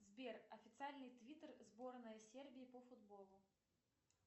сбер официальный твиттер сборной сербии по футболу